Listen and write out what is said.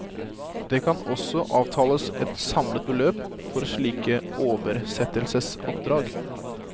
Det kan også avtales et samlet beløp for slike oversettelsesoppdrag.